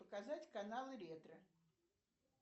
показать канал ретро